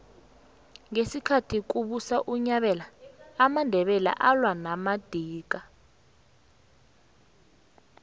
ngesikhathi kubusa unyabela amandebele alwa namadika